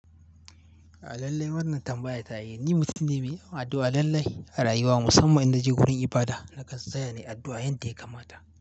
Alallai wannan tambaya ta yi. Ni mutum ne mai addu'a lallai a rayuwa, musamman idan na je wurin ibada na gaskata ne addu'a yadda ya kamata.